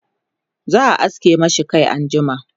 za'a aske mashi Kai anjima